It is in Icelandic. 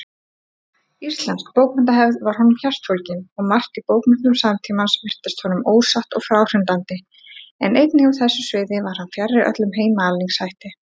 Íslensk bókmenntahefð var honum hjartfólgin, og margt í bókmenntum samtímans virtist honum ósatt og fráhrindandi, en einnig á þessu sviði var hann fjarri öllum heimaalningshætti.